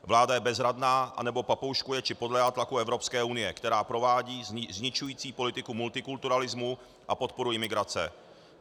Vláda je bezradná, nebo papouškuje či podléhá tlaku Evropské unie, která provádí zničující politiku multikulturalismu a podporu imigrace.